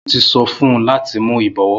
Mo ti so fun u lati mu ibọ̀wọ́.